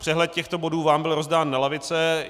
Přehled těchto bodů vám byl rozdán na lavice.